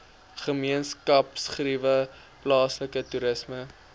gemeenskapsgeriewe plaaslike toerisme